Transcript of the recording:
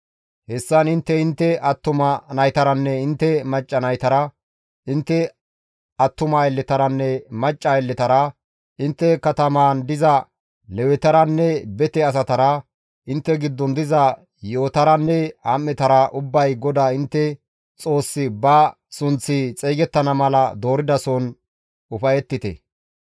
Hessan intte intte attuma naytaranne intte macca naytara, intte attuma aylletaranne macca aylletara, intte katamaan diza Lewetaranne bete asatara, intte giddon diza yi7otaranne am7etara ubbay GODAA intte Xoossi ba sunththi xeygettana mala dooridason ufayettite.